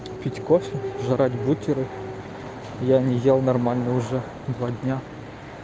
пить кофе жрать бутеры я не ел нормально уже два дня